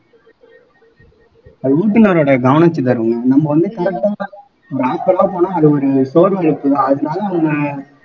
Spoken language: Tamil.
அது ஓட்டுனரோட கவனம் சிதறல் நம்ம வந்து அது ஒரு சோர்வு ஏற்படும் அதனால அவங்க